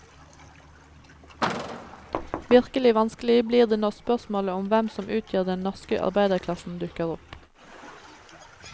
Virkelig vanskelig blir det når spørsmålet om hvem som utgjør den norske arbeiderklassen dukker opp.